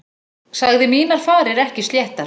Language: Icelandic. Sagði mínar farir ekki sléttar.